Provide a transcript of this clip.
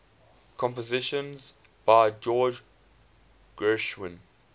compositions by george gershwin